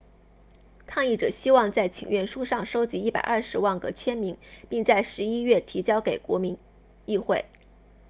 抗议者希望在请愿书上收集120万个签名并在十一月提交给国民议会